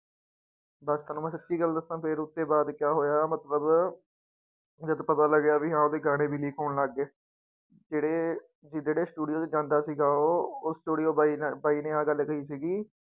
ਬਸ ਤੁਹਾਨੂੂੰ ਮੈਂ ਸੱਚੀ ਗੱਲ ਦੱਸਾਂ ਫਿਰ ਉਹਦੇ ਬਾਅਦ ਕਿਆ ਹੋਇਆ ਮਤਲਬ ਜਦ ਪਤਾ ਲੱਗਿਆ ਵੀ ਹਾਂ ਉਹਦੇ ਗਾਣੇ ਵੀ leak ਹੋਣ ਲੱਗ ਗਏ ਜਿਹੜੇ ਜਿਹੜੇ studio ਤੇ ਜਾਂਦਾ ਸੀਗਾ ਉਹ, ਉਹ studio ਬਾਈ ਨੇ ਬਾਈ ਨੇ ਆਹ ਗੱਲ ਕਹੀ ਸੀਗੀ